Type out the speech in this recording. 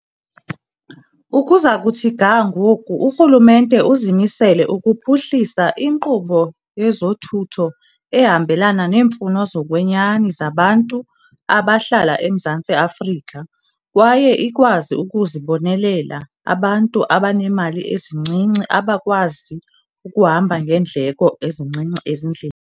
Ukuza kuthi ga ngoku, urhulumente uzimisele ukuphuhlisa inkqubo yezothutho ehambelana neemfuno zokwenyani zabantu abahlala eMzantsi Afrika kwaye ikwazi ukuzibonelela abantu abanemali ezincinci abakwazi ukuhamba ngeendleko ezincinci ezindle.